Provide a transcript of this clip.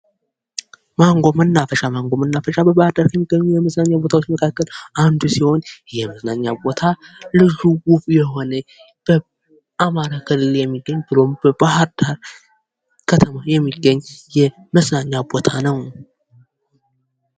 ማንጎ መናፈሻ። ማንጎ መናፈሻ በባህር ዳር ከሚገኙ የመዝናኛ ቦታዎች መካከል አንዱ ሲሆን ይህ የመዝናኛ ቦታ ልዩ ውብ የሆነ በአማራ ክልል ብሎም የሚገኝ በባህር ዳር ከተማ የሚገኝ የመዝናኛ ቦታ ነው።